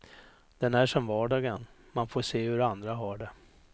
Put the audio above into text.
Den är som vardagen, man får se hur andra har det.